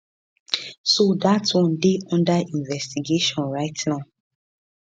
so dat one dey unda investigation right now